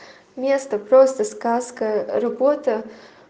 место просто сказка работа